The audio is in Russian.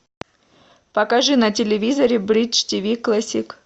покажи на телевизоре бридж тв классик